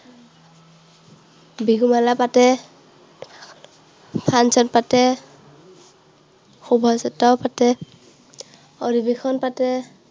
বিহুমেলা পাতে, function পাতে, শুভাযাত্ৰাও পাতে, অধিৱেশন পাতে।